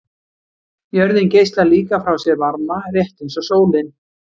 Jörðin geislar líka frá sér varma, rétt eins og sólin.